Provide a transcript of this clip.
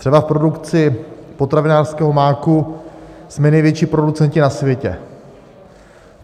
Třeba v produkci potravinářského máku jsme největší producenti na světě.